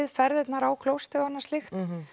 ferðirnar á klósettið og annað slíkt